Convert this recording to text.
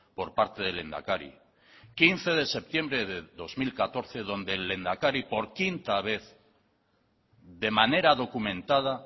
por parte del lehendakari quince de septiembre del dos mil catorce donde el lehendakari por quinta vez de manera documentada